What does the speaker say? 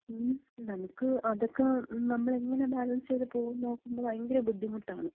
ങ്ങും, നമുക്ക് അതൊക്കെ നമ്മളെങ്ങനെ ബാലൻസ് ചെയ്ത് പോകും എന്ന്നോക്കുമ്പം ഭയങ്കര ബുദ്ധിമുട്ടാണ്.